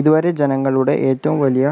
ഇതുവരെ ജനങ്ങളുടെ ഏറ്റവും വലിയ